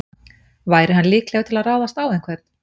Væri hann líklegur til að ráðast á einhvern?